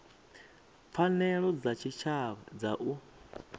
pfanelo dza tshitshavha dza u